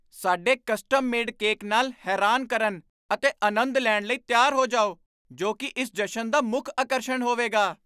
ਸਾਡੇ custom made cake ਨਾਲ ਹੈਰਾਨ ਕਰਨ ਅਤੇ ਅਨੰਦ ਲੈਣ ਲਈ ਤਿਆਰ ਹੋ ਜਾਓ ਜੋ ਕੀ ਇਸ ਜਸ਼ਨ ਦਾ ਮੁੱਖ ਆਕਰਸ਼ਣ ਹੋਵੇਗਾ